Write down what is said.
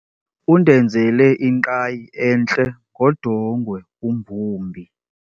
Undenzele ingqayi entle ngodongwe umbumbi.